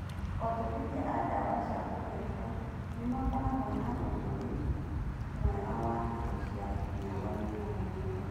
Onjorithia a ndawa cia kũrebia nĩmakoragwo na thũgũrĩ mwega wa indo cia mĩagoinĩ ya Nairobi.